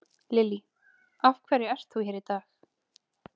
Lillý: Af hverju ert þú hér í dag?